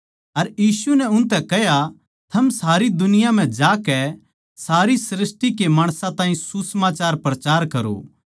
अर यीशु नै उनतै कह्या थम सारी दुनिया म्ह जाकै सारी सृष्टि के माणसां ताहीं सुसमाचार प्रचार करो